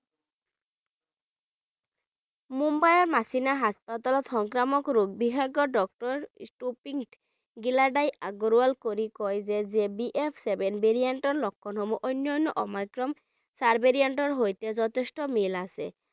মুম্বাইৰ মাচিনা hospital ৰ সংক্ৰামক ৰোগ বিশেষজ্ঞ doctor গিলাডা আগৰৱাল কয় যে যে BF seven ৰ লক্ষণসমূহ অন্য অন্য Omicron sub variant ৰ সৈতে যথেষ্ট মিল আছে